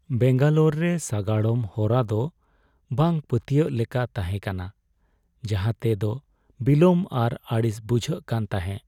ᱵᱮᱝᱜᱟᱞᱳᱨ ᱨᱮ ᱥᱟᱜᱟᱲᱚᱢ ᱦᱚᱨᱟ ᱫᱚ ᱵᱟᱝ ᱯᱟᱹᱛᱭᱟᱹᱜ ᱞᱮᱠᱟ ᱛᱟᱦᱮᱸᱠᱟᱱᱟ, ᱡᱟᱦᱟᱸᱛᱮ ᱫᱚ ᱵᱤᱞᱚᱢ ᱟᱨ ᱟᱹᱲᱤᱥ ᱵᱩᱡᱷᱟᱹᱜ ᱠᱟᱱ ᱛᱟᱦᱮᱸᱜ ᱾